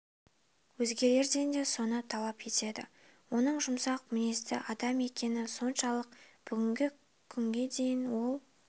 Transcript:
өзгелерден де соны талап етеді оның жұмсақ мінезді адам екені соншалық бүгінгі күнге дейін ол